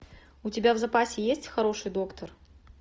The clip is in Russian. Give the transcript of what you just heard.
у тебя в запасе есть хороший доктор